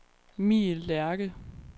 Mie Lerche